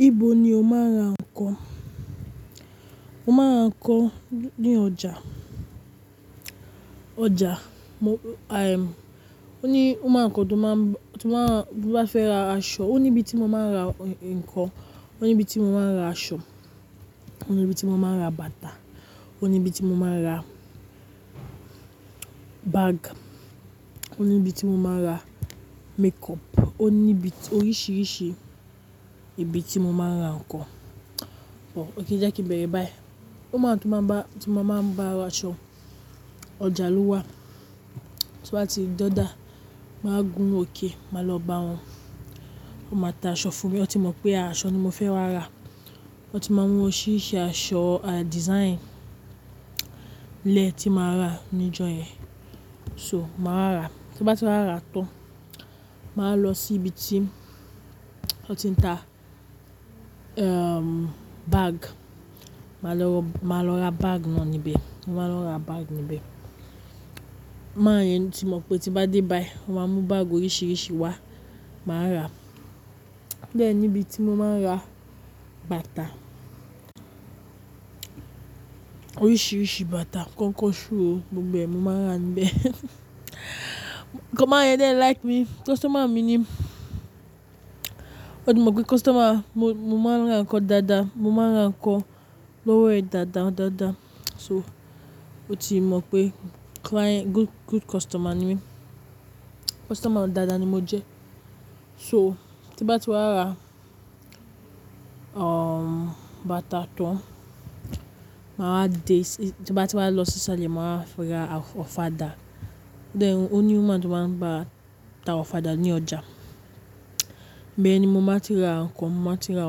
Ibo ni o máa ń ra nǹkan? Mo máa ń ra nǹkan ní ọjà, ọjà. O ní womán kan tó máa ń bá, tó bá fẹ́ ra aṣọ, ó ní ibi tí mo máa ń ra nǹkan, ó ní ibi tí mo máa ń ra aṣọ, ó ní ibi tí mo máa ń ra bàtà, ó ní ibi tí mo máa ń ra bag, ó ní ibi tí mo máa ń ra makeup. Ó ní ibi oríṣìíríṣìí ibi tí mo máa ń ra nǹkan. Òkay je kí b bẹ̀rẹ̀ báyìí. Womáń tú bá, tí mo máa ń bá ra aṣọ, ọjà lówá, tí wá ti dojáa, màá gún òkè, máa lọ bá wọn, wọ́n máa ta aṣọ fún mi. Wọ́n ti mọ̀ pé aṣọ ni mo fẹ́ wá ra. Wọ́n ti máa ń mu oríṣìíríṣìí aṣọ, à dísaínì lè tí màá rà níjọ yẹn. So, màá rà. Tí n bá ti wá rà tán, màá lọ sí ibi tí wọ́n ti ń ta, ehm, bag. Màá lọ, màá lọ ra bag náà níbẹ̀. Mo máa lọ ra bag níbẹ̀. Mán yẹn ti mọ̀ pé tí bá dé báyí, wọ́n máa mú bag oríṣìíríṣìí wá, màá rà. O dẹ́ ní ibi tí mo máa ń ra bàtà. Oríṣìíríṣìí bàtà, kọ́nkọ́ ṣúù, gbogbo mo máa ń rà níbẹ̀. Kọ́ man yẹn like me, customer mi ni. Ó ti mọ̀ pé customer, mo, mo máa ń ra nǹkan dáadáa, mo máa ń ra nǹkan lówó ẹ dáadáa dáadáa. So, ó ti mọ̀ pé client, good, good customer ni mí. Customer dáadáa ni mo jẹ́. So, tí n bá ti wá rà, um, bàtà tán, màá de, tí bá ti wá lọ sí iṣále, màá ra ọ̀fadà. Then, ó ní woman tó máa ń bá ta ọ̀fadà ní ọjà. Bẹ́ẹ̀ ni mo máa ti ra nǹkan, mo máa ti ra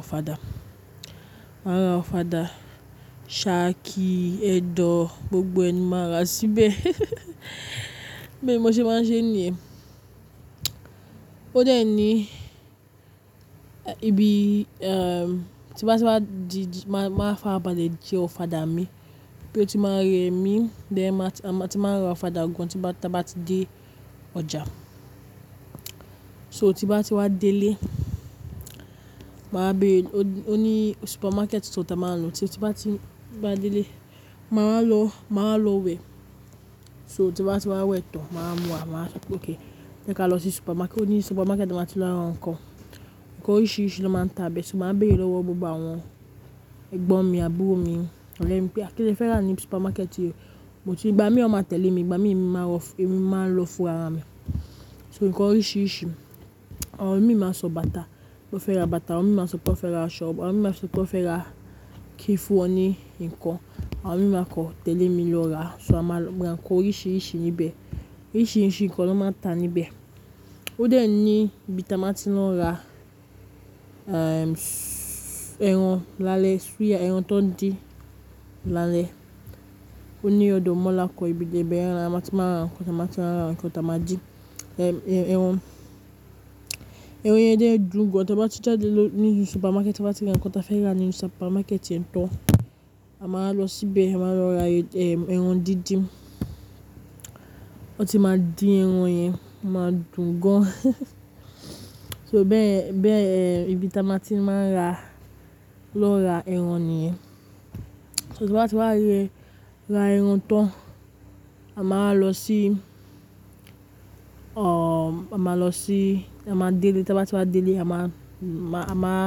ọ̀fadà. Màá ra ọ̀fadà, sàákì, ẹ́dọ̀, gbogbo ẹ ni máa rà síbẹ̀. Bi mo se máa ń ṣe níyen. Ó dẹ̀ ní, ibi, um, tí bá ti wá di, màá, màá fabárale jé ọ̀fadà mi. Bí ó ti máa rẹ́ mi, bẹ́ẹ̀ máa ti, màá ti máa ra ọ̀fadà gan tí bá ti dé ọjà. So tí bá ti wá délé, màá bẹ̀rẹ̀, ó ní supermarket tí wọ́n tá a máa ń lọ. Tí bá ti, bá délé, màá lọ, màá lọ wẹ̀. So tí bá ti wá wẹ̀ tán, màá mú àwọn, òkay, jẹ́ ká lọ sí supermarket. Ó ní supermarket màá ti lọ ra nǹkan. Nǹkan oríṣìíríṣìí ló máa ń ta bẹ́ẹ̀. Ṣùgbọ́n màá bẹ̀rẹ̀ lọ́wọ́ gbogbo àwọn ẹ̀gbọ́n mi àbúrò mi. Lẹ́yìn pé kí le fẹ́ rà ní supermarket yìí? But. Igbà mí wọn máa tẹ̀lé mi, igbà mí èmi máa lọ, èmi máa lọ fún ara mi. So nǹkan oríṣìíríṣìí. Àwọn mi máa sọ bàtà, mo fẹ́ ra bàtà. Àwọn ọmọ mi máa sọ pé wọ́n fẹ́ ra aṣọ. Àwọn ọmọ mi máa sọ pé wọ́n fẹ́ ra kíìfùn wọ́n ní nǹkan. Àwọn mi máa kan, tẹ̀lé mi lọ ra. So màá lọ ra nǹkan oríṣìíríṣìí níbẹ̀. Oríṣìíríṣìí nǹkan ló máa ń ta níbẹ̀. Ó dẹ̀ ní ibi tí a máa ti lọ ra, um, ẹran lálẹ́, suya, ẹran tó ń di lálẹ́. Ó ní ódọ̀ mọ́la kan ibi ibẹ́yẹ̀n ni màá ti máa ra nǹkan. Tí màá ti máa ra nǹkan, tí màá jí, um, ẹran, ẹran yẹn dẹ́ẹ̀ dún gan. Tí bá ti jádé ló, ní supermarket, bá ti rí nǹkan tí a fẹ́ rà nínu supermarket yẹn tán, a máa lọ síbẹ̀, a máa lọ ra, um, ẹran dídín. Wọ́n ti máa din ẹran yẹn, o máa dún gan. So bẹ́yẹ̀n, bẹ́yẹ̀n, ibi tí a máa ti máa ń lọ ra ẹran nìyẹn. So tí a bá ti wá rẹ́, ra ẹran tán, a máa lọ sí, um, a máa lọ sí, a máa délé. Tí a bá ti wá délé, a máa, màá,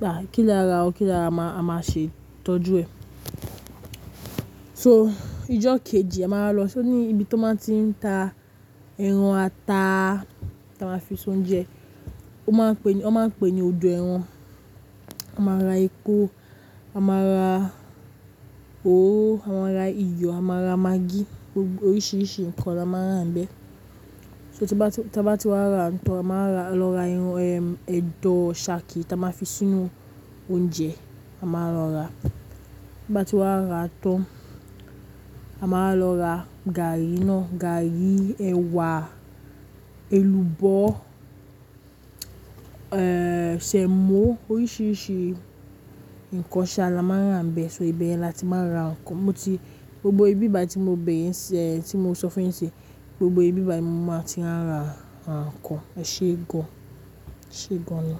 bà, kí ló rà ọ́, kí ló rà, a máa ṣe ìtọ́jú ẹ. So ìjọ́ kejì a máa lọ sí ní ibi tó máa ti ń ta ẹran ata tí a máa fi ṣe oúnjẹ. Won máa ń pe ní, ó máa ń pè ní odò ẹran. A máa ra epo, a máa ra oróró, a máá ra iyọ̀, a máa ra magí. Oríṣìíríṣìí nǹkan la máa ń rà níbẹ̀. So tí bá ti, tí a bá ti wá ra tán, a màá ra, lọ ra ẹran, um, ẹ́dọ̀, sàákì tí a máa fi sínú oúnjẹ. A máa lọ rà. Tí a bá ti wá ra tán, a máa lọ ra gàárì naá, gàárì, ẹ̀wà, èlùbọ́, um, ṣemó. Oríṣìíríṣìí nǹkan ṣa, la máa ń rà níbẹ̀. So ibẹ̀yen ni a ti máa ń ra nǹkan. Mo ti, gbogbo ibi báyi tí mo bẹ̀rẹ̀ ń ṣe, tí mo sọ fún ẹ ń ṣe, gbogbo ibi báyi ní mo máa ti ń ra nǹkan, ẹ ṣe é gan. Ṣe é gan ni.